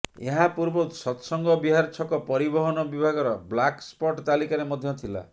ଏହା ପୂର୍ବରୁ ସତସଙ୍ଗ ବିହାର ଛକ ପରିବହନ ବିଭାଗର ବ୍ଲାକ୍ ସ୍ପଟ ତାଲିକାରେ ମଧ୍ୟ ଥିଲା